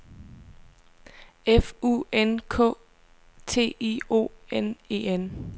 F U N K T I O N E N